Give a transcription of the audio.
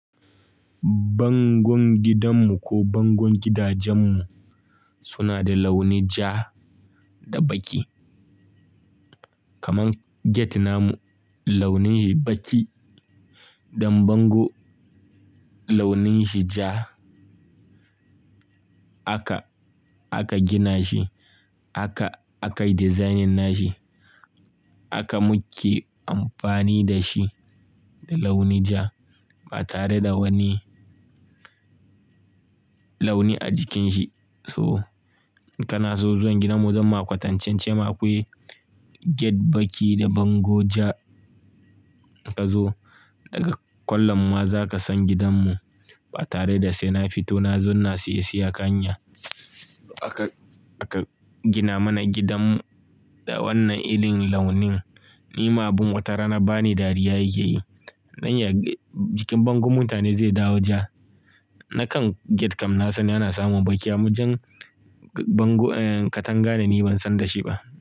Bangon gidanmu ko bangon gidajenmu? Suna da launin ja da baƙi. Kaman gate namu launin shi baƙi, don bango launin shi ja. Aka, aka gina shi, aka, akai dizainin shi. Aka muke amfani da shi da launi ja ba tare da wani, launi a jikin shi. To, inkanaso zuwan gidanmu zamma kwatancen ce ma akwai gate baƙi da bango ja. Ka zo, daga kwallon ma za ka san gidanmu, ba tare da sai na fito na zo ina siye-siye akan hanya. Aka, aka gina mana gidanmu da wannan irin launin. Ni ma abin wata rana bani dariya yake yi. Nan ya, jikin bango mutane zai dawo ja. Nakan, gate kam na san ana samun baƙi, amma jan bango, eh katanga ne ni ban san da shi ba.